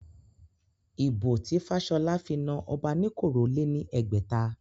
Ìbò tí Fashola fi na Obanikoro lé ní ẹgbẹ̀ta